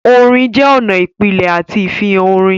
Orin jẹ́ ọ̀nà ìpìlẹ̀ àti ìfihàn orin.